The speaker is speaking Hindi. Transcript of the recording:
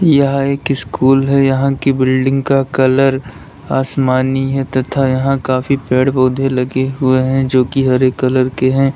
यह एक स्कूल है। यहां की बिल्डिंग का कलर आसमानी है तथा यहां काफी पेड़ पौधे लगे हुए हैं जो कि हरे कलर के हैं।